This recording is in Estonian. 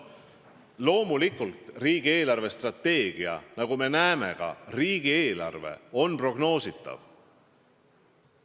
Loomulikult on riigi eelarvestrateegia nagu ka riigieelarve prognoositav.